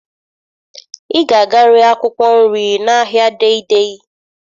Ị ga-aga ree akwụkwọ nri n'ahịa Dei Dei.